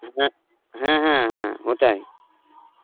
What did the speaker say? হ্যাঁ, হ্যাঁ, হ্যাঁ, হ্যাঁ, ওটাই.